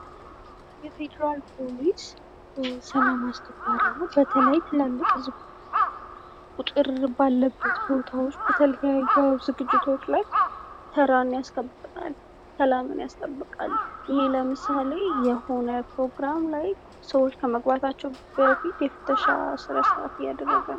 የፌዴራል ፖሊስ ሰላም አስከባሪ ነዉ። በተለይ ትላልቅ ህዝብ ቁጥር ባለበት ቦታዎች በተለያዩ ዝግጅቶች ላይ ተራን ያስጠብቃል፤ ሰላምን ያስከብራል። ይሔ ለምሳሌ የሆነ ፕሮግራም ላይ ሰዎች ከመግባታቸዉ በፊት የፍተሻ ስነስርዓት እያደረገ ነዉ።